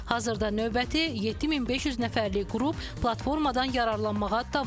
Hazırda növbəti 7500 nəfərlik qrup platformadan yararlanmağa davam edir.